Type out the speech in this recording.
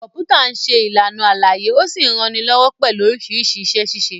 Kọ̀m̀pútà ń ṣe Ìlàna àlàyé ó sì ń ranilọ́wọ́ pẹ̀lú oríṣiríṣi iṣẹ-ṣíṣe